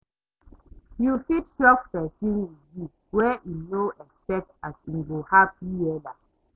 Yu fit shock pesin wit gift wey em no expect as em go hapi wella